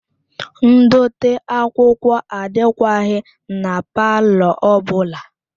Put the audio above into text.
Ndote akwụkwọ adịkwaghị na palọ ọ bụla